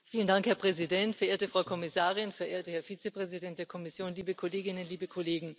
Herr Präsident, verehrte Frau Kommissarin, verehrter Herr Vizepräsident der Kommission, liebe Kolleginnen, liebe Kollegen!